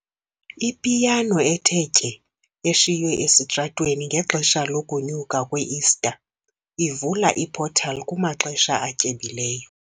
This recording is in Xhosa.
Ipiyano ethe tye eshiywe esitratweni ngexesha lokunyuka kwe-Ista ivula i-portal kumaxesha atyebileyo.